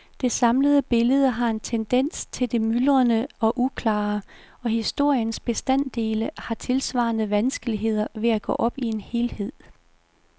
Det samlede billede har en tendens til det myldrende og uklare, og historiens bestanddele har tilsvarende vanskeligheder ved at gå op i en helhed.